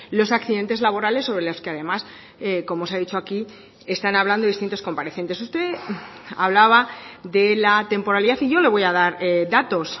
los accidentes laborales sobre los que además como se ha dicho aquí están hablando distintos comparecientes usted hablaba de la temporalidad y yo le voy a dar datos